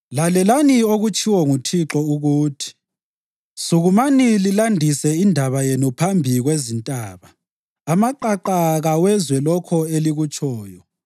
Lalelani okutshiwo nguThixo ukuthi: “Sukumani lilandise indaba yenu phambi kwezintaba; amaqaqa kawezwe lokho elikutshoyo.